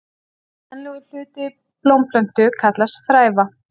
Kvenlegur hluti blómplöntu kallast fræva.